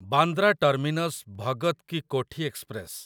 Bandra terminus Bhagat ki Kothi express